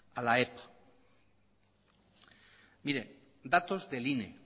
a la epa mire datos del ine